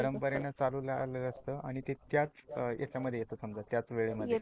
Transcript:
परमपरे नं चालू राहाल असते आणि ते त्याच याच्यामध्ये येत समजा त्याच वेळेमध्ये